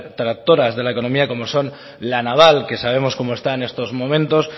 tractoras de la economía como son la naval que sabemos cómo está en estos momentos